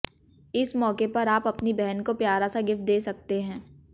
इस मौके पर आप अपनी बहन को प्यारा सा गिफ्ट दे सकते हैं